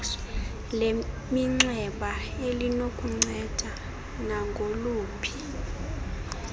leminxeba elinokukunceda nangoluphi